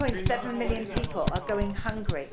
3.7 million people are going hungry.